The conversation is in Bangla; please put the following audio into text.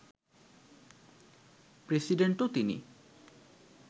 প্রেসিডেন্টও তিনি